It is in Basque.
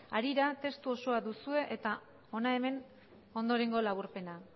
harira testu osoa duzue eta hona hemen ondorengo laburpena